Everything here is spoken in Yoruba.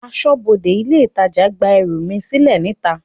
Aṣọbode ilé itàjà gba ẹrù mi sílè níta.